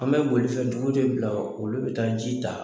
An be bolifɛn tigiw de bila olu be taa ji ta